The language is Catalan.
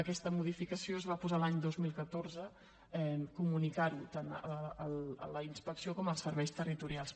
aquesta modificació es va posar l’any dos mil catorze comunicar ho tant a la inspecció com als serveis territorials